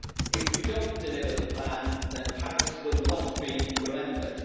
If we do not deliver the plan, then Paris will not be remembered.